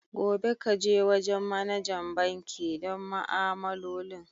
Gobe, ka je wajen managa banki don ma'amalolin.